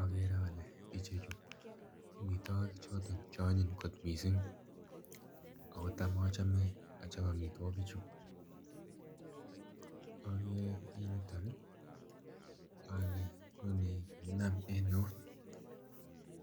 Ogere ole ichechu ko omitwokik che onyiny kot missing ako tam ochome ochop omitwikichu. Ogeree en yuton ii ole nonii kakinam en eut